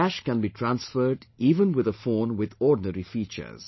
Cash can be transferred even with a phone with ordinary features